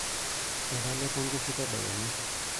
Etalepo nkishu tedekenya.